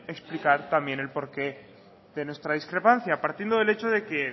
en explicar también el porqué de nuestra discrepancia partiendo del hecho de que